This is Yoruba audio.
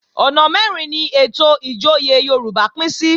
Ọ̀nà mẹ́rin ni ètò ìjòyè Yorùbá pín sí